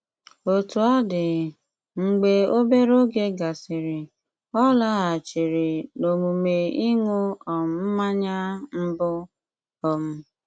Òtú ọ̀ dị, mgbe obere oge gàsịrị, ọ̀ làghàchìrì n'òmùmè ịṅụ̀ um mmànyà mbù. um